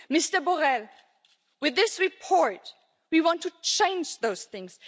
Mr Borrell, with this report, we want to change those things.